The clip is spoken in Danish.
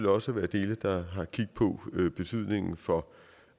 også være dele der har kig på betydningen for